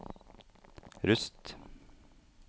Rust